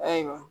Ayiwa